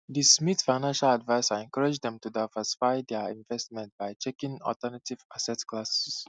di smiths financial advisor encourage dem to diversify dia investments by checking alternative asset classes